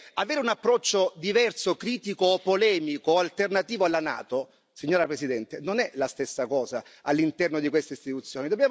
Avere un approccio diverso, critico o polemico o alternativo alla NATO, signora Presidente, non è la stessa cosa, all'interno di queste istituzioni.